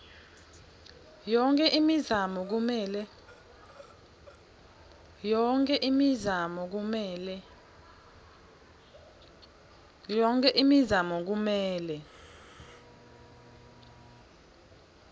yonkhe imizamo kumele